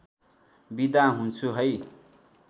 बिदा हुन्छु है